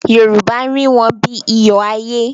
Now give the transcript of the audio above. Yorùbá rí wọn bí iyọ̀ ayé.